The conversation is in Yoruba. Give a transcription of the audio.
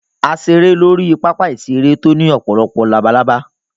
A ṣeré lórí pápá-ìṣeré tó ní ọ̀pọ̀lọpọ̀ labalábá.